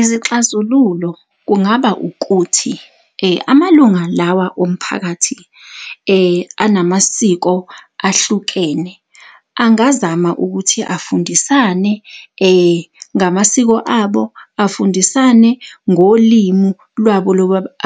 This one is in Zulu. Izixazululo kungaba ukuthi , amalunga lawa omphakathi, anamasiko ahlukene, angazama ukuthi afundisane ngamasiko abo, afundisane ngolimu lwabo